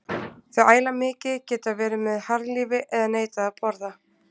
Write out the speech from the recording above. Þau æla mikið, geta verið með harðlífi eða neitað að borða.